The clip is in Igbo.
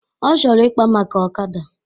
Ọ chọrọ ikpa maka ọkada